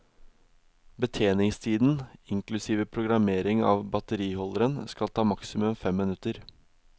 Betjeningstiden, inklusive programmering av batteriholderen skal ta maksimum fem minutter.